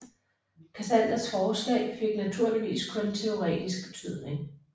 Cassanders forslag fik naturligvis kun teoretisk betydning